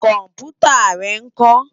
Kòmpútá rè nkò?